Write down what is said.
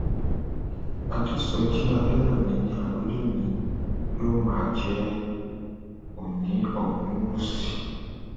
àdèsójì adẹrẹmí ni àròlé mi yóò máa jẹ oòní ogunwúsì